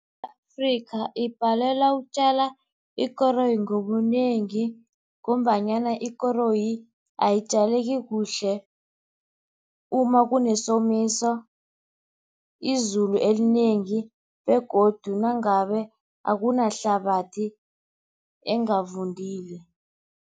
Afrika ibhalelwa ukutjala ikoroyi ngobunengi ngombanyana ikoroyi ayitjaleki kuhle uma kunesomiso, izulu elinengi begodu nangabe akunahlabathi engavundile.